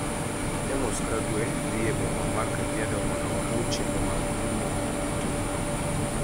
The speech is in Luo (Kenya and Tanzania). Amos Kagwe dhi e boma mar Kajiado mondo oluw chenro mag pimo e tong'no.